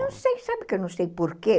Não sei, sabe que eu não sei porquê?